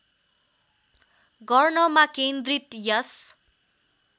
गर्नमा केन्द्रित यस